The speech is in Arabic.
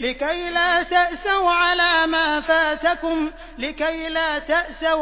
لِّكَيْلَا تَأْسَوْا